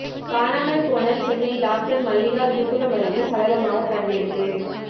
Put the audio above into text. காணாமல் போன சென்னை டாக்டர் மல்லிகா விழுப்புரம் அருகே சடலமாக கண்டெடுப்பு